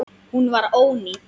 Hún var ónýt.